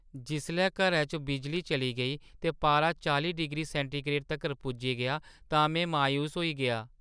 जिसलै घरै च बिजली चली गेई ते पारा चालीं डिग्री सैंटीग्रेड तक्कर पुज्जी गेआ तां में मायूस होई गेआ।